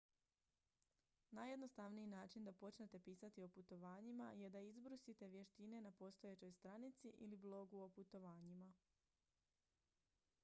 najjednostavniji način da počnete pisati o putovanjima je da izbrusite vještine na postojećoj stranici ili blogu o putovanjima